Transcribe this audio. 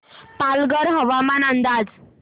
पालघर हवामान अंदाज